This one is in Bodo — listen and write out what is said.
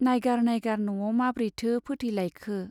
नाइगार नाइगार न'आव माब्रैथो फोथैलायखो!